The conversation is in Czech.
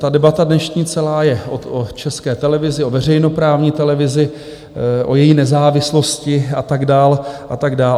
Ta debata dnešní celá je o České televizi, o veřejnoprávní televizi, o její nezávislosti a tak dál, a tak dál.